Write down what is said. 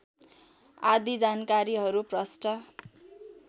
आदि जानकारीहरू प्रष्ट